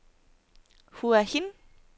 Hua Hin